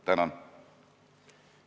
Tänan!